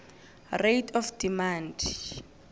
rate of demand